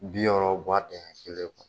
Bi wɔrɔ u ba dɛɲɛ kelen fa.